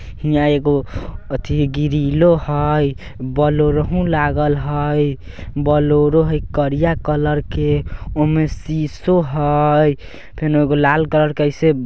हीया एगो अथी ग्रीलो हेय बोलेरो लागल हेय बोलेरो हेय बोलेरो हेय करिया कलर के ओय मे शीसो है फेनों एगो लाल कलर के ऐसे --